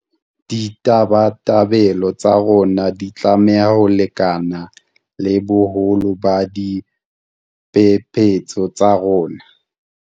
Ditabatabelo tsa rona di tlameha ho lekana le boholo ba diphephetso tsa rona.